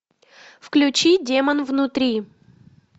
включи демон внутри